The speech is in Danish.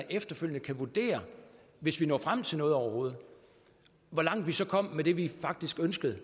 efterfølgende kan vurdere hvis vi når frem til noget overhovedet hvor langt vi så kom med det vi faktisk ønskede